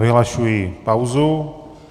Vyhlašuji pauzu.